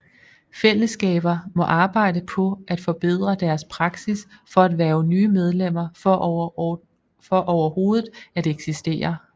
Fællesskaber må arbejde på at forbedre deres praksis for at hverve nye medlemmer for overhovedet at eksistere